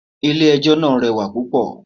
Ilẹ̀ ẹjọ́ náà rẹwà púpọ̀.